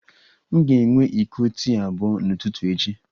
M ga-enwe iko tii abụọ n'ụtụtụ echi